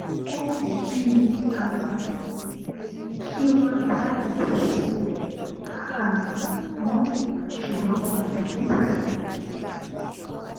ó wù ú bí um i kí wọn dá ìdásí rẹ um mọ ṣùgbọn wọn kò bìkítà